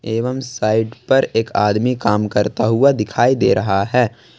एवम साइट पर एक आदमी काम करता हुआ दिखाई दे रहा है।